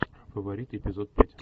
фаворит эпизод пять